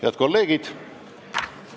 Head kolleegid!